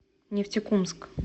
нефтекумск